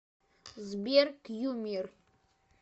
сбер кьюмир